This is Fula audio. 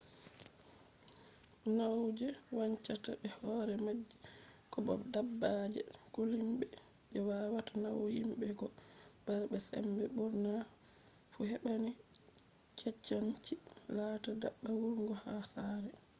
nyau je wancata be hore maaji ko bo dabbaaje kulniiɓe je waawata nauna himɓe ko bara be sembe ɓurna fu heɓai cancanchi laata dabba wurnugo ha saare